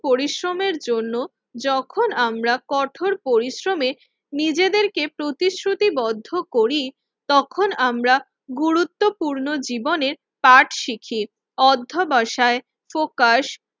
পরিশ্রমের জন্য যখন আমরা কঠোর পরিশ্রমে নিজেদেরকে প্রতিশ্রুতিবদ্ধ করি তখন আমরা গুরুত্বপূর্ণ জীবনের পাঠ শিখি। অধ্যবসায় প্রকাশ